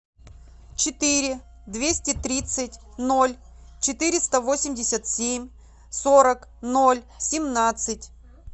четыре двести тридцать ноль четыреста восемьдесят семь сорок ноль семнадцать